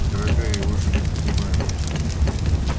дорогая его же не принимают